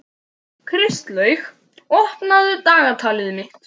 Kristlaug, opnaðu dagatalið mitt.